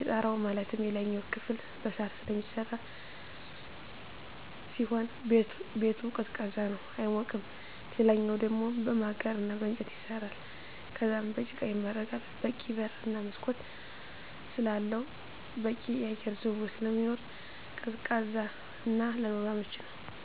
የጣራው ማለትም የላይኛው ክፍል በሳር ስለሚሰራ ሲሆን ቤቱ ቀዝቃዛ ነው አይሞቅም ሌላኛው ደሞ በማገር እና በእንጨት ይሰራል ከዛም በጭቃ ይመረጋል በቂ በር እና መስኮት ስላለው በቂ የአየር ዝውውር ስለሚኖር ቀዝቃዛ እና ለኑሮ አመቺ ነው።